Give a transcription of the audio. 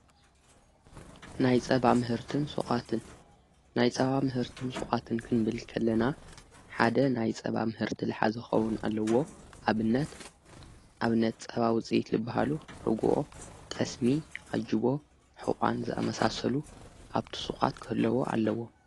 ናይ ጸ ምህርትንዓትን ናይ ጸባ ምህርትን ሶዓትን ክንብልከለና ሓደ ናይ ጸባ ምህርት ለኃዘኾዉን ኣለዎ ኣብነት ኣብነት ጸባ ውፀይት ልብሃሉ ርጕኦ ጠስሚ ኣጅቦ ኅቛን ዘኣመሳሰሉ ኣብቲ ሱዓት ክህለዎ ኣለዎ።